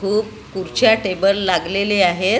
खूप खुर्च्या टेबल लागलेले आहेत.